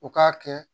U k'a kɛ